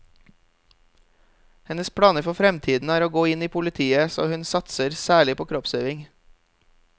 Hennes planer for fremtiden er å gå inn i politiet, så hun satser særlig på kroppsøving.